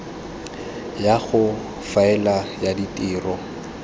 ya go faela ya ditiro